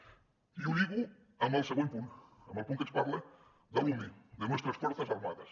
i ho lligo amb el següent punt amb el punt que ens parla de l’ume de nuestras fuerzas armadas